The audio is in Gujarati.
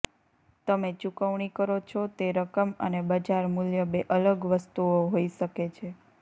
તમે ચૂકવણી કરો છો તે રકમ અને બજાર મૂલ્ય બે અલગ વસ્તુઓ હોઈ શકે છે